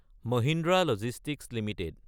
Mahindra logistics Ltd